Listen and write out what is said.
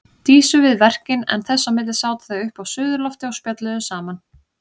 Dísu við verkin en þess á milli sátu þau uppi á suðurlofti og spjölluðu saman.